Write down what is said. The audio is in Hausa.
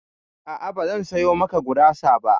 A'a, bazan sayo maka gurasa ba.